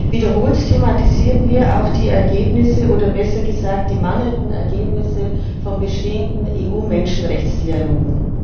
Wiederholt thematisieren wir auch die Ergebnisse oder besser gesagt die mangelnden Ergebnisse von bestehenden EU Menschenrechtsdialogen.